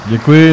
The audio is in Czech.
Děkuji.